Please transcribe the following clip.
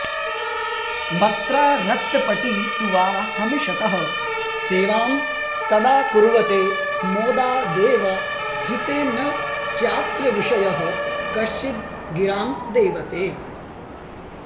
वक्त्रारक्तपटीसुवाहमिषतः सेवां सदा कुर्वते मोदादेव हि ते न चात्र विशयः कश्चिद्गिरां देवते